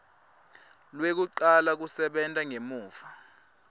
lwekucala lwekusebenta ngemuva